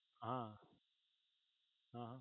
હા હા